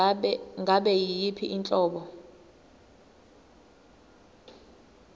ngabe yiyiphi inhlobo